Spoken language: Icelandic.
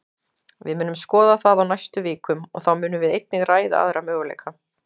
Við munum skoða það á næstu vikum, og þá munum við einnig ræða aðra möguleika.